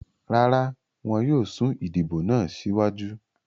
Rara, wọn yóò sun idibo naa siwaju